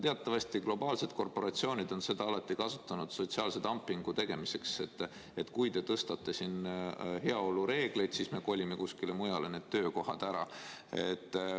Teatavasti globaalsed korporatsioonid on seda alati kasutanud sotsiaalse dumpingu tegemiseks: et kui te karmistate siin heaolu reegleid, siis me kolime nende töökohtadega kuskile mujale ära.